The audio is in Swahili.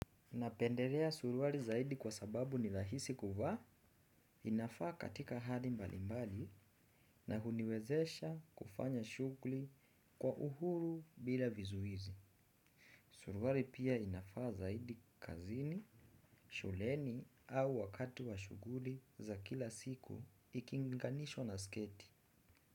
Napendelea suruali zaidi kwa sababu ni rahisi kuvaa inafaa katika hali mbalimbali na huniwezesha kufanya shughuli kwa uhuru bila vizuizi. Suruali pia inafaa zaidi kazini, shuleni au wakati wa shughuli za kila siku ikilinganishwa na sketi.